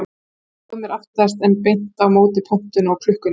Ég tróð mér aftast en beint á móti pontunni og klukkunni.